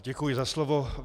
Děkuji za slovo.